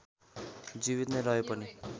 जीवित नै रहे पनि